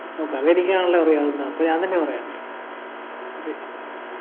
ഓ കഥയെനിക്കാണല്ലോ അറിയാവുന്ന അപ്പൊ ഞാൻ തന്നെ പറയട്ടെ